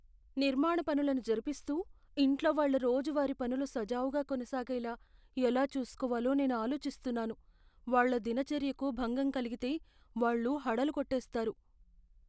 నిర్మాణ పనులను జరుపిస్తూ, ఇంట్లో వాళ్ళ రోజువారీ పనులు సజావుగా కొనసాగేలా ఎలా చూసుకోవాలో నేను ఆలోచిస్తున్నాను. వాళ్ళ దినచర్యకు భంగం కలిగితే వాళ్ళు హడలుకొట్టేస్తారు.